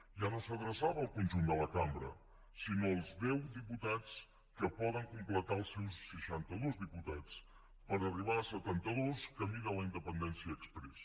ja no s’adreçava al conjunt de la cambra sinó als deu diputats que poden completar els seus seixantados diputats per arribar a setantados camí de la independència exprés